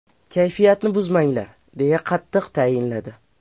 Kayfiyatni buzmanglar”, deya qattiq tayinladi.